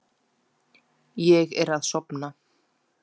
Ég er að sofna.